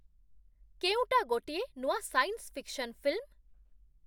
କେଉଁଟା ଗୋଟିଏ ନୂଆ ସାଇନ୍ସ୍ ଫିକ୍ସନ୍ ଫିଲ୍ମ?